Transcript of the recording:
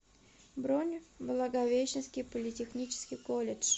бронь благовещенский политехнический колледж